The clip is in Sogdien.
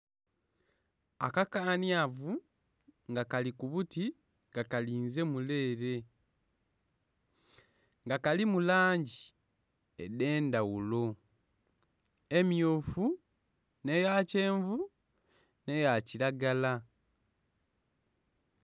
Akakanyavu nga kali kubuti nga kalinze mule ere nga kalimu langi edendhaghulo emyufu neya kyenvu neya kilagala